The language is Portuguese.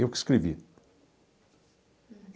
Eu que escrevi.